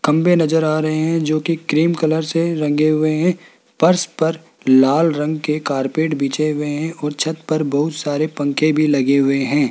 खंभे नज़र आ रहे हैं जो की क्रीम कलर से रंगे हुए हैं फर्श पर लाल रंग के कार्पेट बिछे हुए हैं और छत पर बहुत सारे पंखे भी लगे हुए हैं।